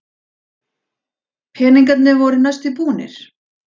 Peningarnir voru næstum búnir.